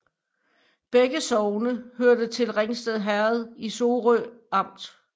Begge sogne hørte til Ringsted Herred i Sorø Amt